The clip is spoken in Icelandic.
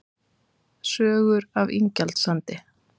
Sögur af Ingjaldssandi